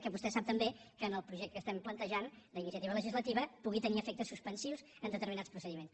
que vostè sap també que en el projecte que estem plantejant d’iniciativa legislativa pugui tenir efectes suspensius en determinats procediments